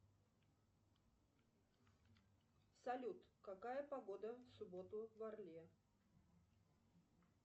салют какая погода в субботу в орле